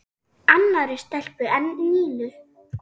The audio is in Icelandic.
Annarri stelpu en Nínu?